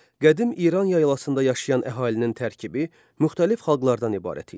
Qədim İran yaylasında yaşayan əhalinin tərkibi müxtəlif xalqlardan ibarət idi.